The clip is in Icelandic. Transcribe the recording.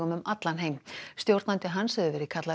um allan heim stjórnandi hans hefur verið kallaður